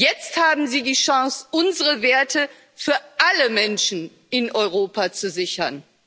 Jetzt haben Sie die Chance, unsere Werte für alle Menschen in Europa zu sichern.